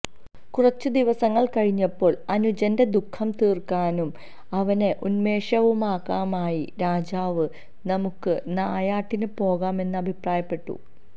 കുറച്ചു ദിവസങ്ങൾ കഴിഞ്ഞപ്പോൾ അനുജന്റെ ദുഃഖം തീർക്കാനും അവനെ ഉന്മേഷവാനാകാനുമായി രാജാവ് നമുക്ക് നായാട്ടിന് പോകാം എന്ന് അഭിപ്രായപ്പെട്ടു